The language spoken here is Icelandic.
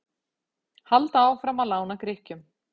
Halda áfram að lána Grikkjum